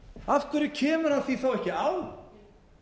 af hverju kemur hann því ekki á